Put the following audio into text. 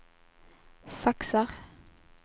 faxar